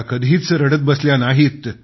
कधीच रडत बसल्या नाहीत